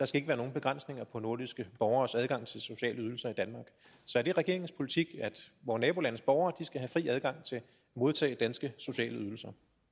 skal være nogen begrænsninger på nordiske borgeres adgang til sociale ydelser i danmark så er det regeringens politik at vore nabolandes borgere skal have fri adgang til at modtage danske sociale ydelser